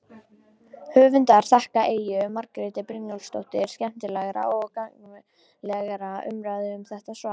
Höfundur þakkar Eyju Margréti Brynjarsdóttur skemmtilegar og gagnlegar umræður um þetta svar.